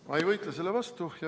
Ma ei võitle selle vastu.